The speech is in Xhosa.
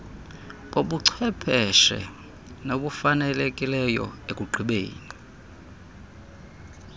bobucwepheshe nabafanelekileyo ekugqibeni